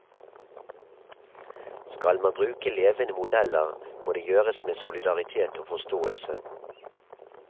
Skal man bruke levende modeller, må det gjøres med solidaritet og forståelse.